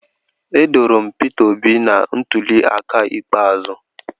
Edoro m Peter obi na ntuli aka ikpeazụ